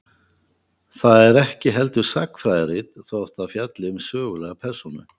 Það er ekki heldur sagnfræðirit, þótt það fjalli um sögulega persónu.